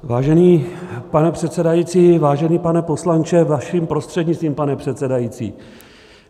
Vážený pane předsedající, vážený pane poslanče, vaším prostřednictvím, pane předsedající.